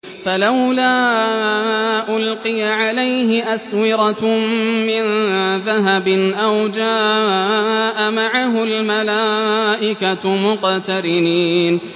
فَلَوْلَا أُلْقِيَ عَلَيْهِ أَسْوِرَةٌ مِّن ذَهَبٍ أَوْ جَاءَ مَعَهُ الْمَلَائِكَةُ مُقْتَرِنِينَ